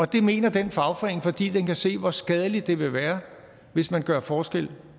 det mener den fagforening fordi den kan se hvor skadeligt det vil være hvis man gør forskel